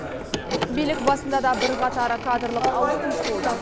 билік басында да бірқатар кадрлық ауыс түйіс болды